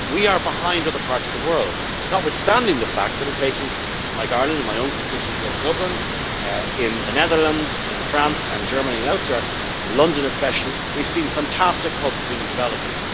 We are behind other parts of the world, notwithstanding the fact that in places like my own constituency of Dublin, in the Netherlands, in France and in Germany and elsewhere, and London especially, we have seen fantastic hubs being developed.